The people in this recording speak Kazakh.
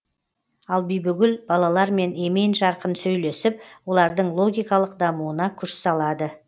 ал бибігүл балалармен емен жарқын сөйлесіп олардың логикалық дамуына күш салады